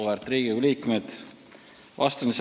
Auväärt Riigikogu liikmed!